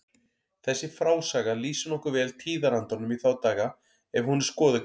Þessi frásaga lýsir nokkuð vel tíðarandanum í þá daga ef hún er skoðuð grannt.